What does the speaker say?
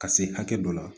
Ka se hakɛ dɔ la